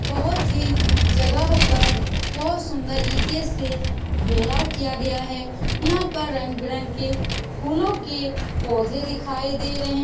बहुत ही जगह पर बहुत सुन्दर ईटे से घेरा किया गया है यहाँ पर रंग-बिरंग के फूलों के पौधे दिखाई दे रहे --